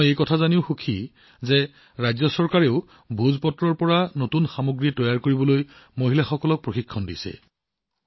মই এইটোও জানি সুখী যে ৰাজ্য চৰকাৰেও মহিলাসকলক ভোজপাত্ৰৰ পৰা নতুন সামগ্ৰী তৈয়াৰ কৰাৰ প্ৰশিক্ষণ দিছে